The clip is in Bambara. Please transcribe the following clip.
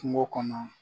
Kungo kɔnɔ